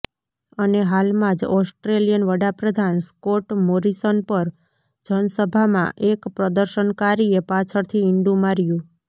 અને હાલમાં જ ઓસ્ટ્રેલિયન વડાપ્રધાન સ્કોટ મોરીસન પર જનસભામાં એક પ્રદર્શનકારીએ પાછળથી ઈંડું માર્યું